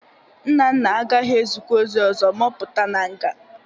Nnanna agaghị ezukwa ozi ọzọ ma ọ pụta na nga.